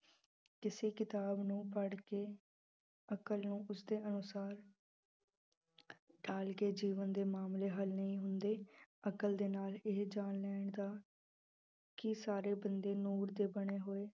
ਕਿਸੇ ਕਿਤਾਬ ਨੂੰ ਪੜ੍ਹ ਕੇ, ਅਕਲ ਨੂੰ ਉਸਦੇ ਅਨੁਸਾਰ ਢਾਲ ਕੇ ਜੀਵਨ ਦੇ ਮਾਮਲੇ ਹੱਲ ਨਹੀਂ ਹੁੰਦੇ, ਅਕਲ ਦੇ ਨਾਲ ਇਹ ਜਾਣ ਲੈਣ ਦਾ ਕਿ ਸਾਰੇ ਬੰਦੇ ਨੂਰ ਦੇ ਬਣੇ ਹੋਏ